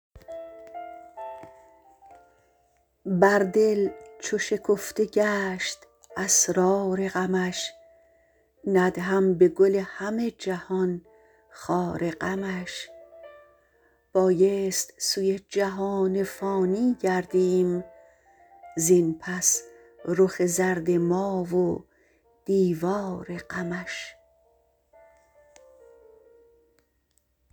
بر دل چو شکفته گشت اسرار غمش ندهم به گل همه جهان خار غمش بایست سوی جهان فانی گردیم زین پس رخ زرد ما و دیوار غمش